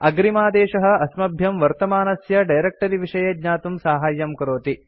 अग्रिमादेशः अस्मभ्यं वर्तमानस्य डायरेक्ट्री विषये ज्ञातुं साहाय्यं करोति